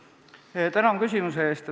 Tänan küsimuse eest!